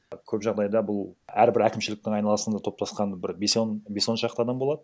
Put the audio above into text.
көп жағдайда бұл әрбір әкімшіліктің айналасында топтасқан бір бес он бес он шақты адам болады